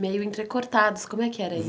meio entrecortados, como é que era isso?